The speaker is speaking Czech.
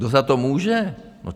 Kdo za to může?